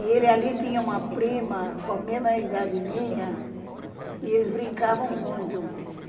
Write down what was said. E ele ali tinha uma prima com a mesma idade minha e eles brincavam muito.